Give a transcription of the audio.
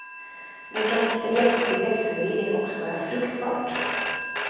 Nu kan spret och begreppsförvirring också vara fruktbart.